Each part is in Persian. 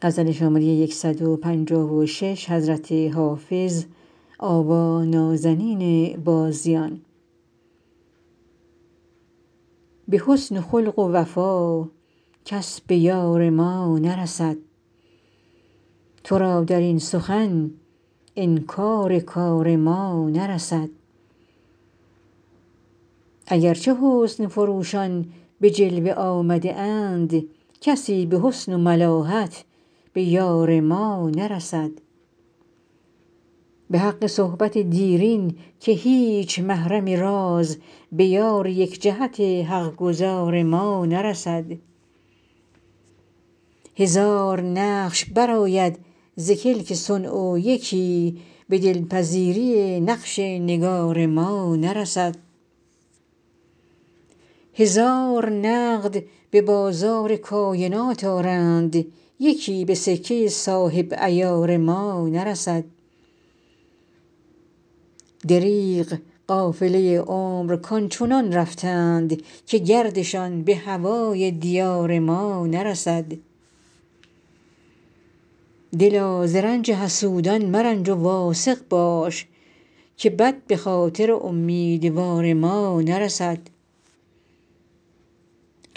به حسن و خلق و وفا کس به یار ما نرسد تو را در این سخن انکار کار ما نرسد اگر چه حسن فروشان به جلوه آمده اند کسی به حسن و ملاحت به یار ما نرسد به حق صحبت دیرین که هیچ محرم راز به یار یک جهت حق گزار ما نرسد هزار نقش برآید ز کلک صنع و یکی به دل پذیری نقش نگار ما نرسد هزار نقد به بازار کاینات آرند یکی به سکه صاحب عیار ما نرسد دریغ قافله عمر کآن چنان رفتند که گردشان به هوای دیار ما نرسد دلا ز رنج حسودان مرنج و واثق باش که بد به خاطر امیدوار ما نرسد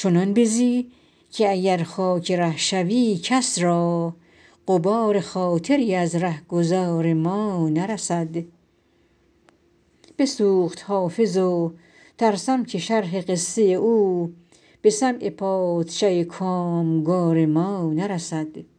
چنان بزی که اگر خاک ره شوی کس را غبار خاطری از ره گذار ما نرسد بسوخت حافظ و ترسم که شرح قصه او به سمع پادشه کام گار ما نرسد